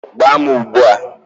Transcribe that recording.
Gbaa m ugbu a!